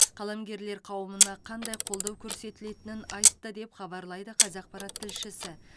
қаламгерлер қауымына қандай қолдау көрсетілетінін айтты деп хабарлайды қазақпарат тілшісі